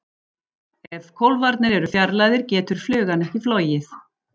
Ef kólfarnir eru fjarlægðir getur flugan ekki flogið.